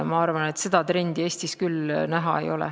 Ma arvan, et seda trendi Eestis küll näha ei ole.